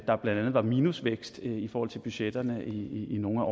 der blandt andet var minusvækst i forhold til budgetterne i nogle af